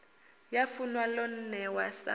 ya funwa lo newa sa